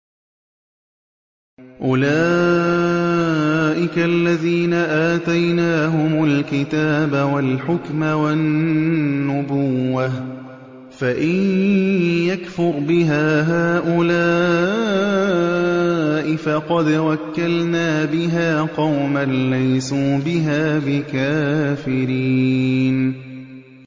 أُولَٰئِكَ الَّذِينَ آتَيْنَاهُمُ الْكِتَابَ وَالْحُكْمَ وَالنُّبُوَّةَ ۚ فَإِن يَكْفُرْ بِهَا هَٰؤُلَاءِ فَقَدْ وَكَّلْنَا بِهَا قَوْمًا لَّيْسُوا بِهَا بِكَافِرِينَ